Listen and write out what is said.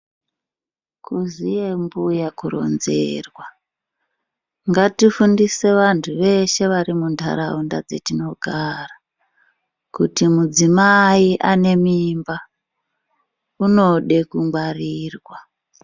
Kuziya mbuya kuronzerwa ngatifundise vantu veshe varimuntaraunda dzetinogara kuti mudzimai ane mimba unode kungwarirwa